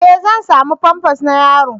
E! Zan sami famfas na yaro.